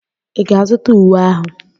Ị ga-azụta uwe ahụ?